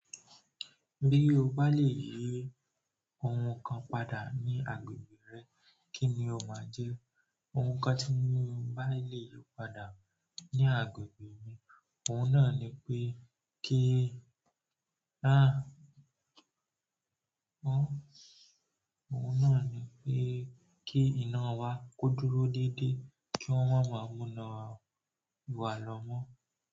Bí o bá lè yí ohun kan padà ní agbègbè rẹ, kí ni o máa jẹ́? Ohun kan tí mo bá lè yí padà ní agbègbè mi, òun náà ni pé kí, òun náà ni pé kí iná wa kódúró dédé kí wón ma máa mú iná wà lọ́mọ.